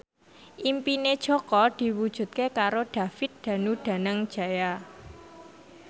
impine Jaka diwujudke karo David Danu Danangjaya